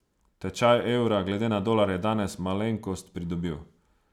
Tečaj evra glede na dolar je danes malenkost pridobil.